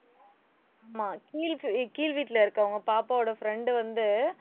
ஆமா அஹ் கீழ் வீட்டுல இருக்கவங்க, பாப்பாவோட friend வந்து,